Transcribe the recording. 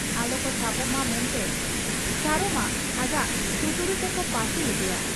ᱟᱞᱚᱠᱚ ᱥᱟᱵᱚᱜ ᱢᱟ ᱢᱮᱱᱛᱮ ᱥᱟᱨᱚᱢᱟ ᱟᱡᱟᱜ ᱴᱩᱴᱩᱨᱤ ᱛᱮᱠᱚ ᱯᱟᱹᱥᱤ ᱞᱮᱫᱮᱭᱟ ᱾